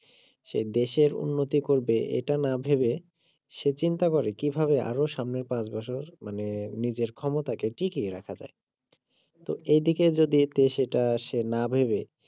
সে দেশের উন্নতি করবে এটা না ভেবে সে চিন্তা করে কিভাবে আরো সামনের পাঁচ বছর মানে নিজের ক্ষমতাকে টিকিয়ে রাখা যায় তো এইদিকে যদি সেটা সে না ভেবে